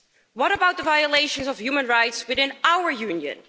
What about the violations of human rights within our Union?